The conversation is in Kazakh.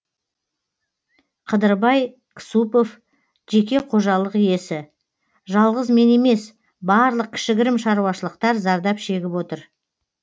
қыдырбай ксупов жеке қожалық иесі жалғыз мен емес барлық кішігірім шаруашылықтар зардап шегіп отыр